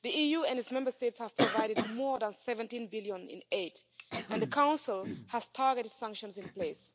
The EU and its Member States have provided more than 17 billion in aid and the Council has targeted sanctions in place.